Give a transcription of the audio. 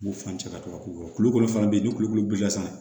U b'u fan cɛ ka to ka kulukoro kulukolo fana bɛ yen ni kulukoro bɔr'i la sisan